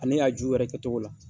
Ani a ju yɛrɛ kɛtogo la.